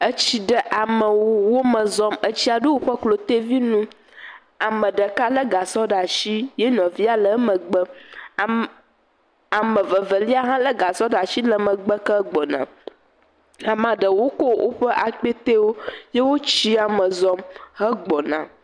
Etsi ɖe amewo wo me zɔm. etsia ɖo woƒe klotevinu. Ame ɖeka le gasɔ ɖe asi ye nɔvia le emgbe. Am ame vevelia hã le gasɔ ɖe asi le megbe ke gbɔna. Amea ɖewo ko woƒe akpɛtewo ye wo etsia me zɔm hegbɔna.